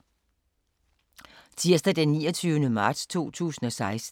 Tirsdag d. 29. marts 2016